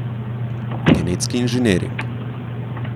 Genetski inženiring!